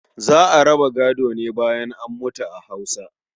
Za a raba gado ne bayan an mutu a Hausa.